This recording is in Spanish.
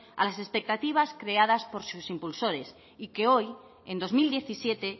a las expectativas creadas por sus impulsores y que hoy en dos mil diecisiete